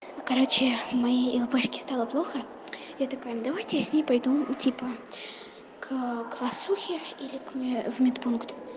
короче моей лучшей подруге стало плохо я такая ну давайте я с ней пойду типа к классному руководителю или в мёд пункт